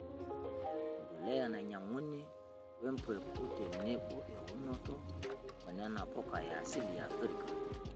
Embolea nainyang'uni, empeku tenebo eunoto oo nena puka e asili e Afrika.